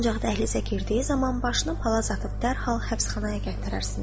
Ancaq dəhlizə girdiyi zaman başını palaz atıb dərhal həbsxanaya gətirərsiniz.